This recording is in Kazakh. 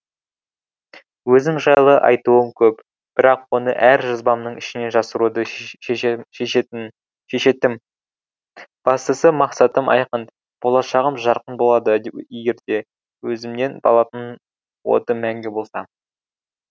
өзім жайлы айтуым көп бірақ оны әр жазбамның ішіне жасыруды шешетім бастысы мақсатым айқын болашағым жарқын болады егерде өзімнен алатын отым мәңгі болса